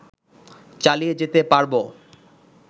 চালিয়ে যেতে পারবো